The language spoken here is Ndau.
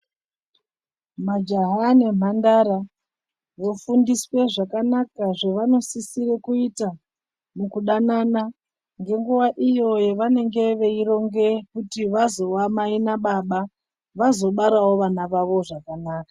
Majaha nemhandara vofundiswe zvakanaka zvavanosisire kuita mukudanana nenguwa iyo yavanenge veironga kuti vazova mai nababa vazobarawo vana vavo zvakanaka.